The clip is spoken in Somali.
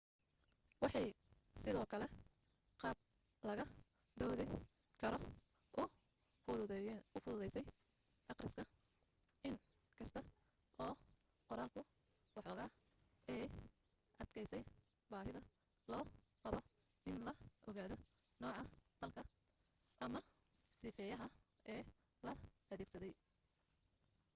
waxay sidoo kale qaab laga doodi karo u fududeynaysaa akhriska in kasta oo qoraalku waxoogaa ay adkaysay baahida loo qabo in la ogaado nooca falka ama sifeeyaha ee la adeegsaday